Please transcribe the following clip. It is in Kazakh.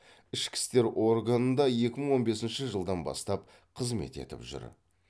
ішкі істер органында екі мың он бесінші жылдан бастап қызмет етіп жүр